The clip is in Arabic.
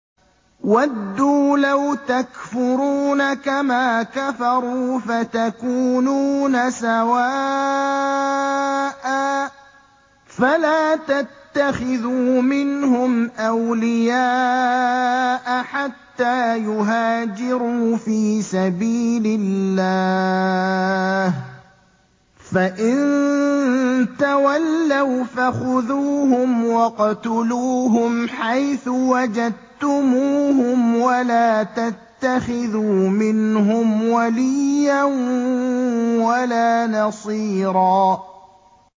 وَدُّوا لَوْ تَكْفُرُونَ كَمَا كَفَرُوا فَتَكُونُونَ سَوَاءً ۖ فَلَا تَتَّخِذُوا مِنْهُمْ أَوْلِيَاءَ حَتَّىٰ يُهَاجِرُوا فِي سَبِيلِ اللَّهِ ۚ فَإِن تَوَلَّوْا فَخُذُوهُمْ وَاقْتُلُوهُمْ حَيْثُ وَجَدتُّمُوهُمْ ۖ وَلَا تَتَّخِذُوا مِنْهُمْ وَلِيًّا وَلَا نَصِيرًا